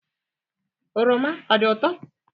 Oroma ọ dị ụtọo?